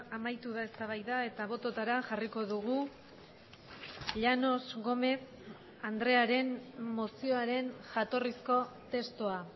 amaitu da eztabaida eta bototara jarriko dugu llanos gómez andrearen mozioaren jatorrizko testua